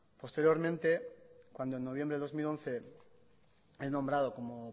posteriormente cuando en noviembre de dos mil once es nombrado como